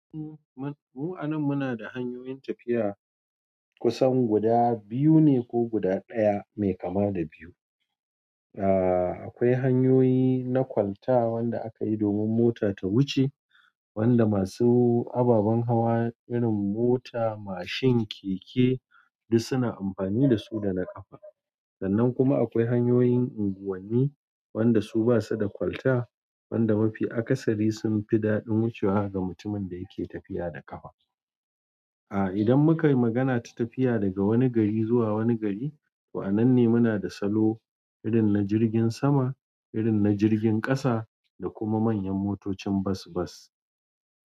Mu a nan muna da hanyoyin tafiya kusan guda biyu ne ko guda ɗaya mai kama da biyu. Aaa, akwai hanyoyi na kwalta wanda akayi domin mota ta wuce, wanda masu ababan hawa irin mota, mashin, keke duk suna amfani dasu da na ƙafa. Sannan kuma akwai hanyoyin unguwanni wanda su basu da kwalta wanda mafi akasari sunfi daɗin wucewa ga mutumin dayake tafiya da ƙafa. Aaa, idan muka yi magana ta tafiya daga wani gari zuwa wani gari, to a nan ne muna da salo irin na jirgin sama, irin na jirgin ƙasa da kuma manyan motocin bas bas.